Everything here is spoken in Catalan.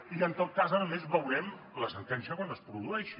i en tot cas a més veurem la sentència quan es produeixi